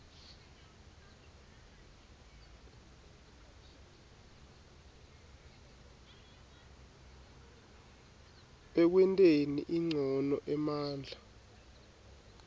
ekwenteni ncono emandla